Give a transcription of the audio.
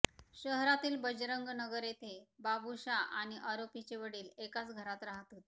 शहरातील बजरंग नगर येथे बाबुशा आणि आरोपीचे वडील एकाच घरात राहत होते